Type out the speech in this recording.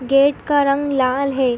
Gate का रंग लाल है।